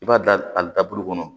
I b'a da a da bolo kɔnɔ